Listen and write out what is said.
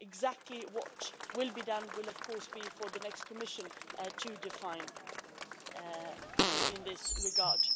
Exactly what will be done will, of course, be for the next Commission to define in this regard.